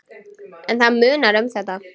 En það munar um þetta.